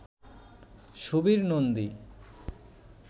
Subir Nandi